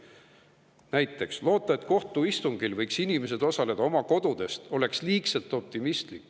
Näiteks: loota, et kohtuistungil võiksid inimesed osaleda oma kodudest, on liigselt optimistlik.